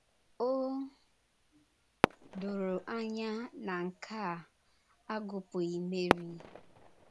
O dòrò anyá na nke a, agụpụghị Meri.